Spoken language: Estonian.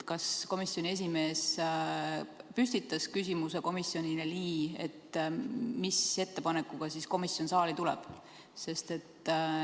Kas komisjoni esimees püstitas komisjonile küsimuse, mis ettepanekuga komisjon saali tuleb?